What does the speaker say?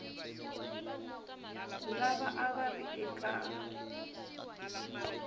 lava a va ri eka